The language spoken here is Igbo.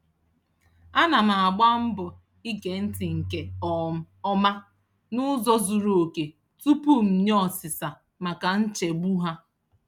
Ana m agba mbọ ige ntị nke um ọma n'ụzọ zuru oke tupu m nye osisa maka nchegbu ha.